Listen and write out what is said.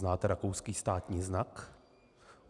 Znáte rakouský státní znak?